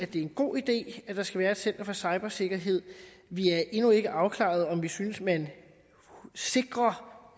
det er en god idé at der skal være et center for cybersikkerhed vi er endnu ikke afklarede om vi synes man sikrer